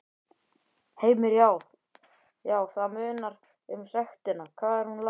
Heimir: Já, það munar um sektina, hvað er hún há?